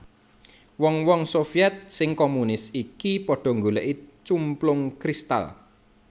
Wong wong Sovyèt sing komunis iki padha nggolèki cumplung kristal